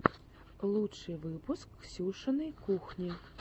лучший выпуск ксюшиной кухни